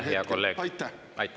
Aitäh, hea kolleeg!